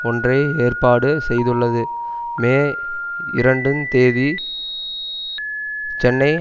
ஒன்றை ஏற்பாடு செய்துள்ளது மே இரண்டு தேதி சென்னை